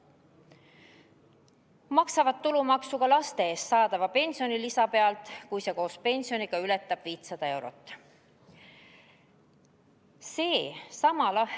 Tulumaksu makstakse ka laste eest saadava pensionilisa pealt, kui see koos pensioniga ületab 500 eurot.